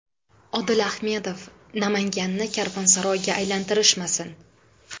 Odil Ahmedov: Namanganni karvonsaroyga aylantirishmasin!